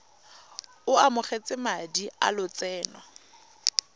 o amogetse madi a lotseno